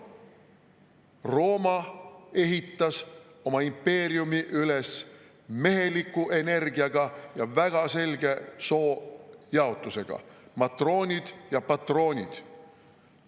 Rooma ehitas oma impeeriumi üles meheliku energiaga ja väga selge soojaotusega: matroonid ja patroonid.